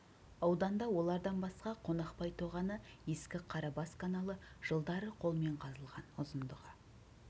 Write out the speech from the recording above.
ауданда олардан басқа қонақбай тоғаны ескі қарабас каналы жылдары қолмен қазылған ұзындығы